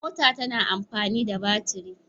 Mota tana amfani da baturi.